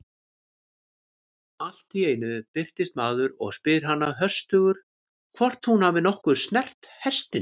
Allt í einu birtist maður og spyr hana höstugur hvort hún hafi nokkuð snert hestinn.